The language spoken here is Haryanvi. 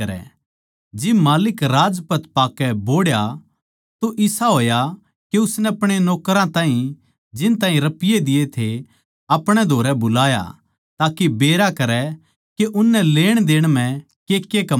जिब माल्लिक राजपद पाकै बोहड़या तो इसा होया के उसनै अपणे नौकरां ताहीं जिन ताहीं रपिये दिये थे अपणे धोरै बुलाया ताके बेरा करै के उननै लेणदेण म्ह केके कमाया